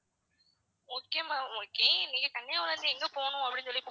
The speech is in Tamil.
okay ma'am okay நீங்க கன்னியாகுமரில இருந்து எங்க போகணும் அப்படின்னு சொல்லி,